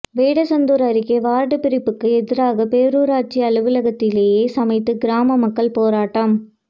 வேடசந்தூர் அருகே வார்டு பிரிப்புக்கு எதிராக பேரூராட்சி அலுவலகத்திலேயே சமைத்து கிராம மக்கள் போராட்டம்